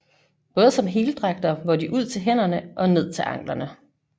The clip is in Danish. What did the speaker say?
Både som heldragter hvor de ud til hænderne og ned til anklerne